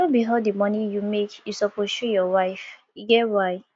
no be all di moni you make you suppose show your wife e get why